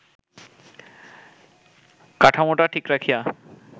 কাঠামোটা ঠিক রাখিয়া